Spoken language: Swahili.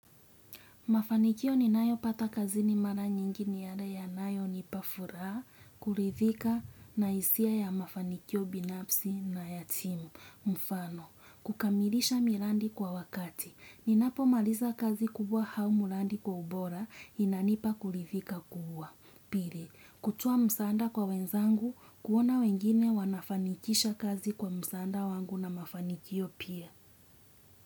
Mafanikio ni nayopata kazini mara nyingi ni yale aya nayo nipa furaa, kulithika na isia ya mafanikio binapsi na ya timu, mfano. Kukamilisha mirandi kwa wakati. Ninapo maliza kazi kubwa hau murandi kwa ubora, inanipa kulithika kubwa. Pili, kutua msanda kwa wenzangu, kuona wengine wanafanikisha kazi kwa msanda wangu na mafanikio pia.